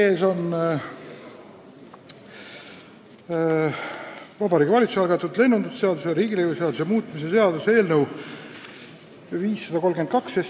Teie ees on Vabariigi Valitsuse algatatud lennundusseaduse ja riigilõivuseaduse muutmise seaduse eelnõu 532.